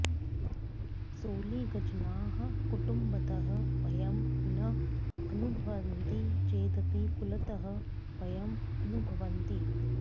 सोलिगजनाः कुटुम्बतः भयं न अनुभवन्ति चेदपि कुलतः भयम् अनुभवन्ति